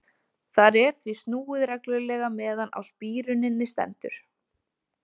Þar er því snúið reglulega meðan á spíruninni stendur.